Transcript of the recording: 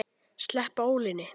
Sleppa ólinni.